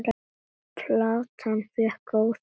Platan fékk góða dóma.